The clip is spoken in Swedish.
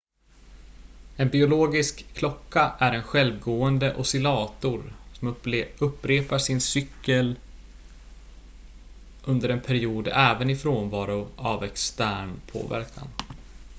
en biologisk klocka är en självgående oscillator som upprepar sin cykel under en period även i frånvaro av extern påverkan